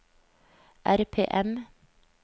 RPM